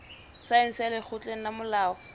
saense ya lekgotleng la molao